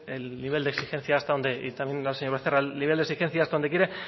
el nivel de exigencia hasta donde quiera